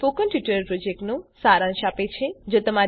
તે spoken tutorial પ્રોજેક્ટનો સારાંશ આપે છે